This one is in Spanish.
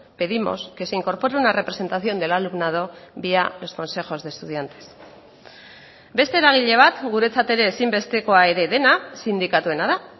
pedimos que se incorpore una representación del alumnado vía los consejos de estudiantes beste eragile bat guretzat ere ezinbestekoa ere dena sindikatuena da